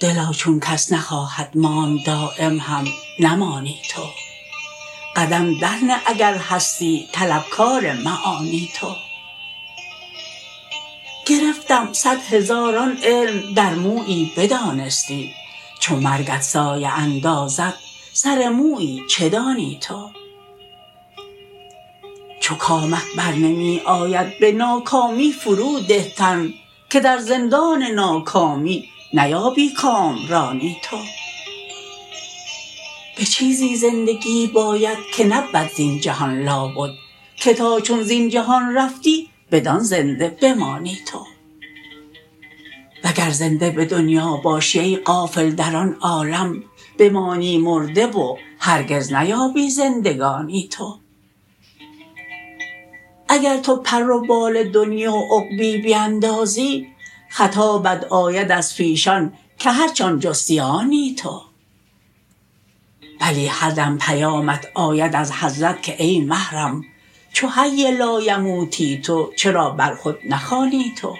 دلا چون کس نخواهد ماند دایم هم نمانی تو قدم در نه اگر هستی طلب کار معانی تو گرفتم صد هزاران علم در مویی بدانستی چو مرگت سایه اندازد سر مویی چه دانی تو چو کامت بر نمی آید به ناکامی فرو ده تن که در زندان ناکامی نیابی کامرانی تو به چیزی زندگی باید که نبود زین جهان لابد که تا چون زین جهان رفتی بدان زنده بمانی تو وگر زنده به دنیا باشی ای غافل در آن عالم بمانی مرده و هرگز نیابی زندگانی تو اگر تو پر و بال دنیی و عقبی بیندازی خطابت آید از پیشان که هرچ آن جستی آنی تو بلی هر دم پیامت آید از حضرت که ای محرم چو حی لایموتی تو چرا بر خود نخوانی تو